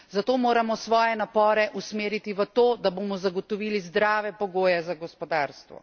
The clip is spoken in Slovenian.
Zato moramo svoje napore usmeriti v to, da bomo zagotovili zdrave pogoje za gospodarstvo.